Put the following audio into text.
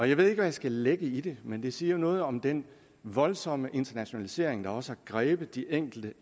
ikke hvad jeg skal lægge i det men det siger jo noget om den voldsomme internationalisering der også har grebet de enkelte